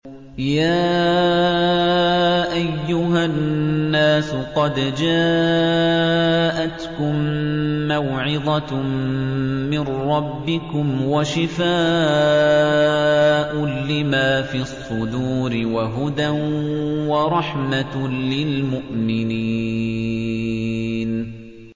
يَا أَيُّهَا النَّاسُ قَدْ جَاءَتْكُم مَّوْعِظَةٌ مِّن رَّبِّكُمْ وَشِفَاءٌ لِّمَا فِي الصُّدُورِ وَهُدًى وَرَحْمَةٌ لِّلْمُؤْمِنِينَ